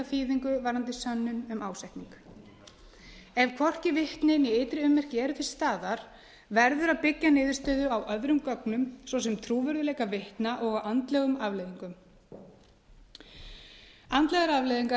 þýðingu varðandi sönnun um ásetning ef hvorki vitni né ytri ummerki eru til staðar verður að byggja niðurstöðu á öðrum gögnum svo sem trúverðugleika vitna og andlegum afleiðingum andlegar afleiðingar